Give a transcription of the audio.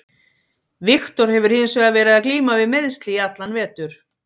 Viktor hefur hins vegar verið að glíma við meiðsli í allan vetur.